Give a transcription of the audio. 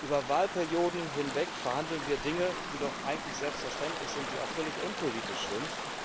Über Wahlperioden hinweg verhandeln wir Dinge, die doch eigentlich selbstverständlich sind, die auch völlig unpolitisch sind.